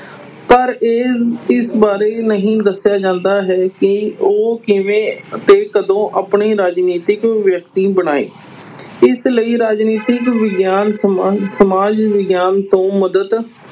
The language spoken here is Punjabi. ਪਰ ਇਹ ਇਸ ਬਾਰੇ ਨਹੀਂ ਦੱਸਿਆ ਜਾਂਦਾ ਹੈ ਕਿ ਉਹ ਕਿਵੇਂ ਅਤੇ ਕਦੋਂ ਆਪਣੀ ਰਾਜਨੀਤਿਕ ਵਿਅਕਤੀ ਬਣਾਏ ਇਸ ਲਈ ਰਾਜਨੀਤਿਕ ਵਿਗਿਆਨ ਸਮਾ ਸਮਾਜ ਵਿਗਿਆਨ ਤੋਂ ਮਦਦ